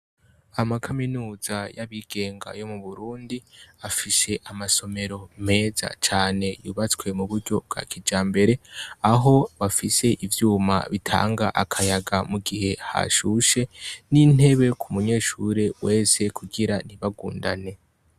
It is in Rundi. Amakaminuza y'abigenga yo mu Burundi afise amasomero meza cane yubatswe mu buryo bwa kijambere. Aho bafise ivyuma bitanga akayaga mu gihe hashushe n'intebe ku munyeshure wese kugira ntibagundane.